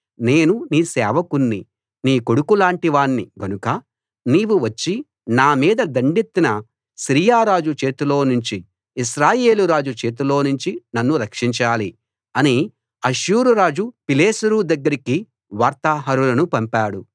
నేను నీ సేవకుణ్ణి నీ కొడుకులాంటి వాణ్ణి గనుక నీవు వచ్చి నా మీద దండెత్తిన సిరియా రాజు చేతిలో నుంచి ఇశ్రాయేలురాజు చేతిలో నుంచి నన్ను రక్షించాలి అని అష్షూరు రాజు తిగ్లతు పిలేసెరు దగ్గరికి వార్తాహరులను పంపాడు